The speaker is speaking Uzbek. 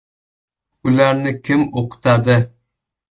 Ularni kim o‘qitadi?